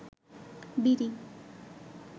বিড়ি